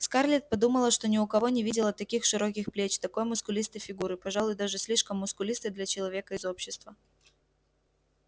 скарлетт подумала что ни у кого не видела таких широких плеч такой мускулистой фигуры пожалуй даже слишком мускулистой для человека из общества